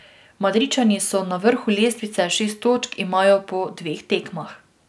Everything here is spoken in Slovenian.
Madridčani so na vrhu lestvice, šest točk imajo po dveh tekmah.